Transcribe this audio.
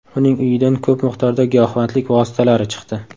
Uning uyidan ko‘p miqdorda giyohvandlik vositalari chiqdi.